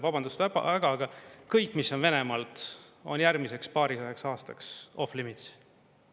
Vabandust väga, aga kõik, mis on Venemaalt, on järgmiseks paarikümneks aastaks off limits.